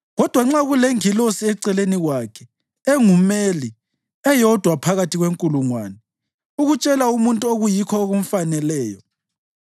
Kodwa nxa kulengilosi eceleni kwakhe, engumeli, eyodwa phakathi kwenkulungwane, ukutshela umuntu okuyikho okumfaneleyo,